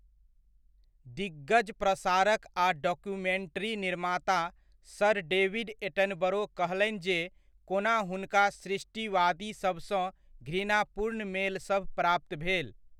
दिग्गज प्रसारक आ डॉक्यूमेन्ट्री निर्माता सर डेविड एटनबरो कहलनि जे कोना हुनका सृष्टिवादीसभसँ घृणापूर्ण मेलसभ प्राप्त भेल।